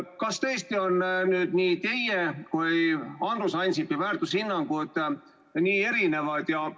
Kas tõesti on teie ja Andrus Ansipi väärtushinnangud nii erinevad?